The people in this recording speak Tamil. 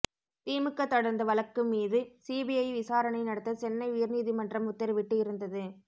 திமுக தொடர்ந்த வழக்கு மீது சிபிஐ விசாரணை நடத்த சென்னை உயர்நீதிமன்றம் உத்தரவிட்டு இருந்தது